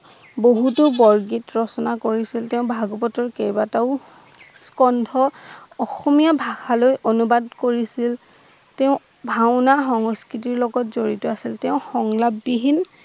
বহুতো বৰগীত ৰচনা কৰিছিল, তেওঁ ভাগবতৰ কেইবাটাও কণ্ঠ অসমীয়া ভাষা লৈ অনুবাদ কৰিছিল, তেওঁ ভাওনা সংস্কৃতৰ লগত জড়িত আছিল। তেওঁ সংকলববিহীন